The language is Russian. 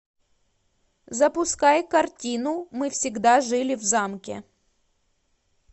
запускай картину мы всегда жили в замке